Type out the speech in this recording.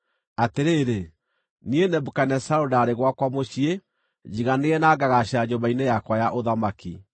Atĩrĩrĩ, niĩ Nebukadinezaru ndarĩ gwakwa mũciĩ, njiganĩire na ngagaacĩra nyũmba-inĩ yakwa ya ũthamaki.